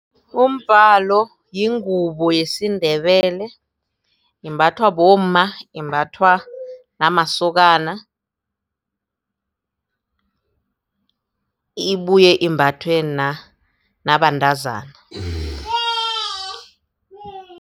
Umbalo yingubo yesiNdebele imbathwa bomma imbathwa namasokana ibuye imbathwe nabantazana.